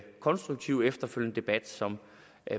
konstruktive efterfølgende debat som